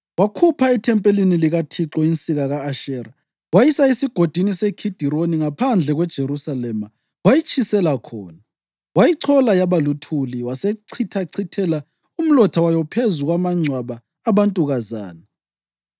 Wakhupha ethempelini likaThixo insika ka-Ashera, wayisa esigodini seKhidironi ngaphandle kweJerusalema, wayitshisela khona, wayichola yaba luthuli wasechithachithela umlotha wayo phezu kwamangcwaba abantukazana.